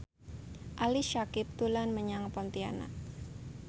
Ali Syakieb dolan menyang Pontianak